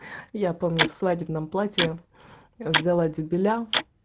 я помню в свадебном платье взяла дюбеля